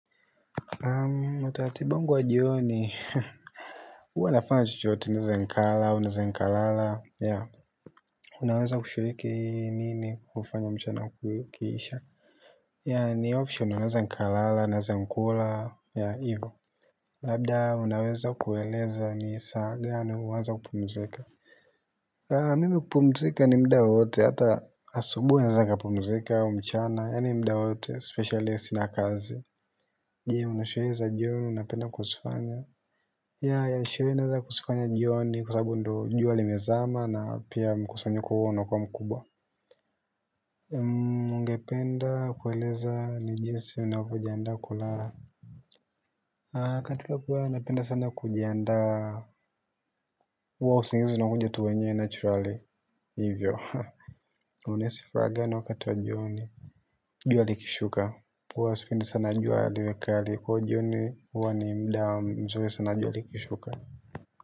Utaratibu wangu wa jioni huwa nafanya chochote naeza nikala au naeza nikalala. Unaweza kushuriki nini kufanya mchana ukiisha. Ya ni option naeza nkalala naeza nkula ya ivo. Labda unaweza kueleza ni sa gani hunaza kupumzika. Mimi hupumzika ni muda wowote hata asubuhi naeza nkapumzika mchana yani muda wote specialist na kazi. Je una sherehe za jioni unapenda kuzifanya, yah sherehe naanza kuzifanya jioni kwa sababu ndo jua limezama na pia mkusanyiko huo unakuwa mkubwa. Ningependa kueleza ni jinsi ninavyojiandaa kulala. A katika kuwa napenda sana kujandaa wa usingizi unakuja tu wenyewe naturali hivyo haa. Unaisi fraga na wakati wa jioni. Jua likishuka kwa usipindi sana jualiwekali kwa jioni huwa ni mda mzuri sana juali kishuka. Kwa hivyo.